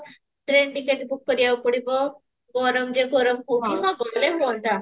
train ticket book କରିବାକୁ ପଡିବ ହଁ ଗଲେ ହୁଅନ୍ତା